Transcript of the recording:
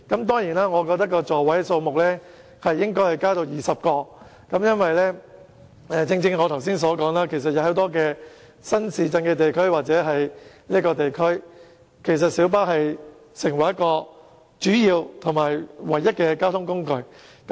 當然，我認為座位數目應該增至20個，因為正如我剛才所說，在很多屬於新市鎮的地區，公共小巴是它們主要或唯一的交通工具。